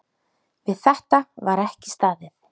Við þetta var ekki staðið.